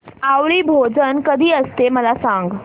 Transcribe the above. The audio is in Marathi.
आवळी भोजन कधी असते मला सांग